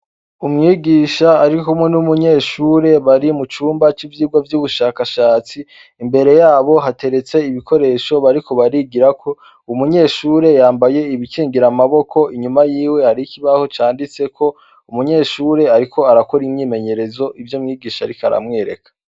Umwigisha arikumwe n'umunyeshure bari mucumba ci vigwa vyubushakashatsi imbere yabo hatereze ibikoresho bariko barigirako, umunyeshure yambaye ibikingira amaboko, inyuma yiwe hariho ikibaho canditseko umunyeshure ariko arakora imwimenyerezo ivyo umwigisha ariko aramwereka.